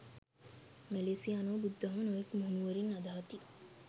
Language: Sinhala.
මැලේසියානුවෝ බුදුදහම නොයෙක් මුහුණුවරින් අදහති.